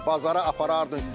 Bazara aparardın.